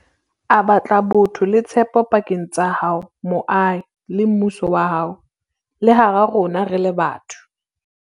A batla botho le tshepo pakeng tsa hao, moahi, le mmuso wa hao, le hara rona re le batho.